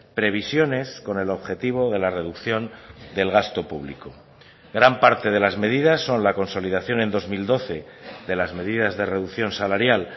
previsiones con el objetivo de la reducción del gasto público gran parte de las medidas son la consolidación en dos mil doce de las medidas de reducción salarial